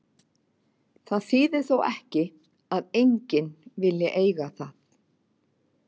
Það þýðir þó ekki að enginn vilji eiga það.